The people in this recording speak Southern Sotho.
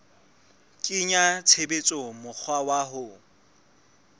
kenya tshebetsong mokgwa wa ho